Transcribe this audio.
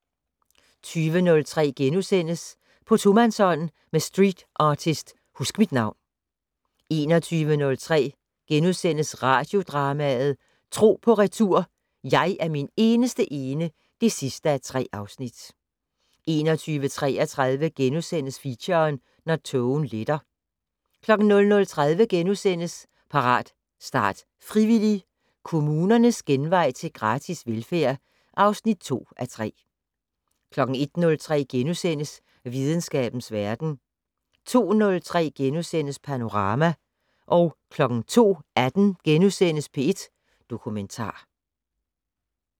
20:03: På tomandshånd med streetartist Huskmitnavn * 21:03: Radiodrama: Tro på retur: Jeg er min eneste ene (3:3)* 21:33: Feature: Når tågen letter * 00:30: Parat, start, frivillig! - Kommunernes genvej til gratis velfærd (2:3)* 01:03: Videnskabens Verden * 02:03: Panorama * 02:18: P1 Dokumentar *